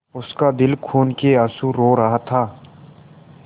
उसका दिल खून केआँसू रो रहा था